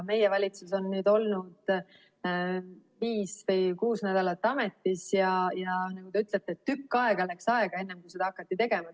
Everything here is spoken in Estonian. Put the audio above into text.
Meie valitsus on nüüd olnud viis või kuus nädalat ametis ja nagu te ütlete, et tükk aega läks aega, enne kui seda hakati tegema.